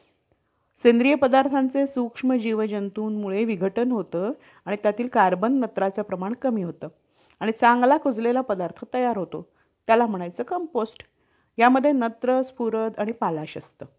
Like day to day life मध्ये आपल्याला news किंवा आपल्याला काही खबर पाहिजे असेल किंवा आपल्याला जर आपलं कोणा friends शी बोलायचं असेल आधी मी stress बद्दल बोललो तर आजच्या जगात अह लोक खूप काम करतात आणि